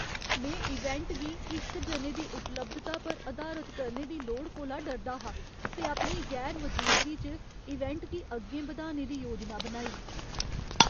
में इवेंट गी इक जने दी उपलब्धता पर अधारत करने दी लोड़ कोला डरदा हा ते अपनी गैर मजूदगी च इवेंट गी अग्गें बधाने दी योजना बनाई।